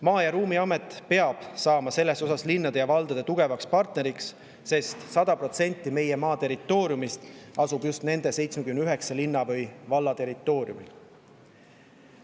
Maa‑ ja Ruumiamet peab saama selles osas linnade ja valdade tugevaks partneriks, sest 100% meie maast asub just nende 79 linna või valla territooriumil.